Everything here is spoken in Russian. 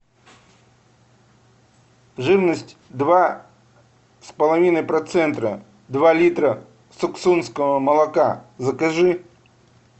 жирность два с половиной процента два литра суксунского молока закажи